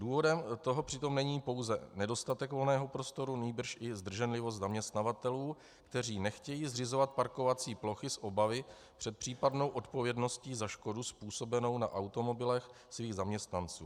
Důvodem toho přitom není pouze nedostatek volného prostoru, nýbrž i zdrženlivost zaměstnavatelů, kteří nechtějí zřizovat parkovací plochy z obavy před případnou odpovědností za škodu způsobenou na automobilech svých zaměstnanců.